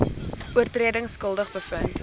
oortredings skuldig bevind